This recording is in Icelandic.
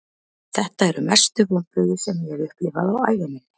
Þetta eru mestu vonbrigði sem ég hef upplifað á ævi minni.